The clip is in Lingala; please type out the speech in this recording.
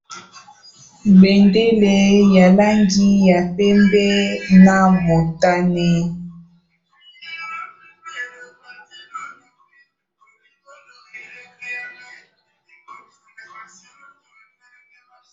Bendele ya langi ya pembe na motane.